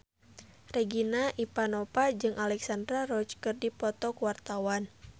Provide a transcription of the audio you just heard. Regina Ivanova jeung Alexandra Roach keur dipoto ku wartawan